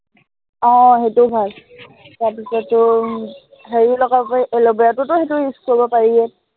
আহ সেইটোও ভাল। তাৰপিছত তোৰ উম হেৰিও লগাব পাৰি, এলভেৰাটোত সেইটো use কৰিব পাৰিয়েই